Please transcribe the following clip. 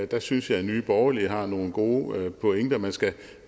der synes jeg at nye borgerlige har nogle gode pointer man skal